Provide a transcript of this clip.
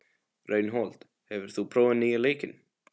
Reinhold, hefur þú prófað nýja leikinn?